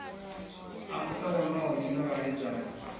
a muta wonoyo na vhaledzani